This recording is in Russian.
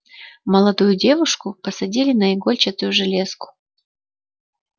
молодую девушку посадили на игольчатую железку